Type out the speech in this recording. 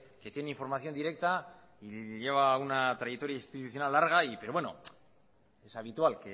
que tiene información directa y lleva una trayectoria institucional larga pero bueno es habitual